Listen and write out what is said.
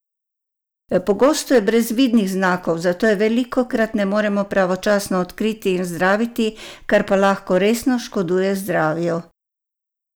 Pogosto je brez vidnih znakov, zato je velikokrat ne morejo pravočasno odkriti in zdraviti, kar pa lahko resno škoduje zdravju!